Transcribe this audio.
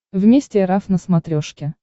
вместе эр эф на смотрешке